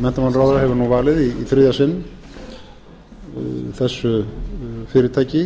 menntamálaráðherra hefur nú valið í þriðja sinn þessu fyrirtæki